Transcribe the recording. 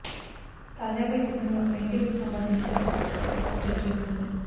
తాజాగా ఈ చిత్రంలో వెంకీ లుక్ సంభందిచిన ఫోటో హల్ చల్ చేస్తోంది